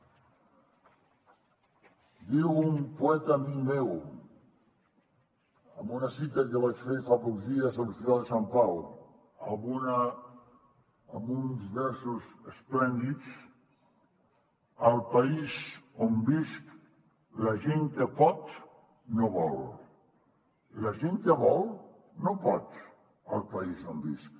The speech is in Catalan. diu un poeta amic meu en una cita que vaig fer fa pocs dies a l’hospital de sant pau amb uns versos esplèndids al país on visc la gent que pot no vol la gent que vol no pot al país on visc